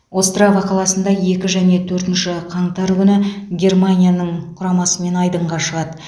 острава қаласында екі және төртінші қаңтар күні германияның құрамасымен айдынға шығады